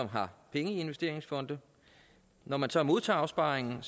har penge i investeringsfonde når man så modtager opsparingen